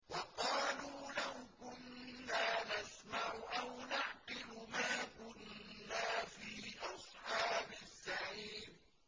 وَقَالُوا لَوْ كُنَّا نَسْمَعُ أَوْ نَعْقِلُ مَا كُنَّا فِي أَصْحَابِ السَّعِيرِ